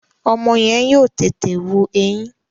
Ọmọ yẹn yóò tètè wù ẹyin